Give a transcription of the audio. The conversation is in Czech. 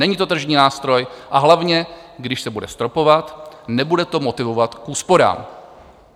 Není to tržní nástroj, a hlavně když se bude stropovat, nebude to motivovat k úsporám.